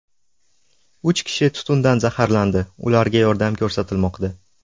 Uch kishi tutundan zaharlandi, ularga yordam ko‘rsatilmoqda.